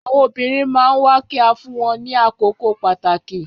Àwọn obìrin man nwa ki a fún wọn ní àkókò pàtàkì